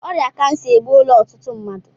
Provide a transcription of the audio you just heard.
Ọrịa kansa egbuola ọtụtụ mmadụ